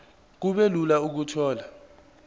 kube lula ukuthola